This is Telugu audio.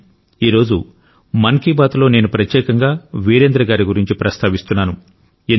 కానీ ఈ రోజు మన్ కీ బాత్లో నేను ప్రత్యేకంగా వీరేంద్ర గారి గురించి ప్రస్తావిస్తున్నాను